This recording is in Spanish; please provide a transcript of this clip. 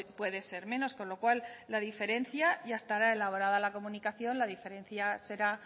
puede ser menos ya estará elaborada la comunicación con lo cual la diferencia será